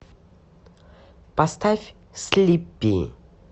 поставь слиппи